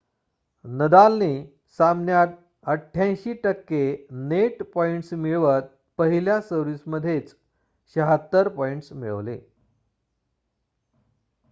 नदालने सामन्यात 88% net points मिळवत पहिल्या सर्व्हिस मध्येच 76 पॉइंट्स मिळवले